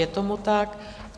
Je tomu tak.